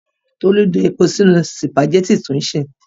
Tolú da epo sínú sìpàgẹ́tì tó ń sè.